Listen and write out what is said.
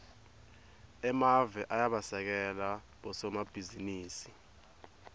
emave ayabasekela bosomabhizinisi